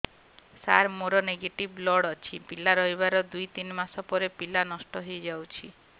ସାର ମୋର negative blood ଅଛି ପିଲା ରହିବାର ଦୁଇ ତିନି ମାସ ପରେ ପିଲା ନଷ୍ଟ ହେଇ ଯାଉଛି